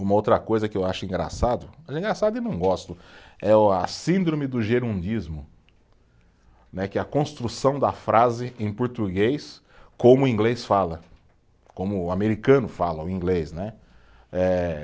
Uma outra coisa que eu acho engraçado, mas é engraçado e eu não gosto, é o a síndrome do gerundismo né, que é a construção da frase em português como o inglês fala, como o americano fala, o inglês, né, eh.